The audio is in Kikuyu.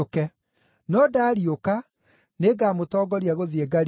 No ndaariũka, nĩngamũtongoria gũthiĩ Galili.”